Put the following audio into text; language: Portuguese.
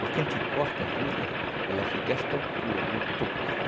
Porque a gente corta a juta, ela fica a esta altura, o toco.